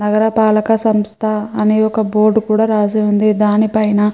నగరపాలక సంస్థ అనే ఒక బోర్డు కూడా రాసి ఉంది. దానిపైన --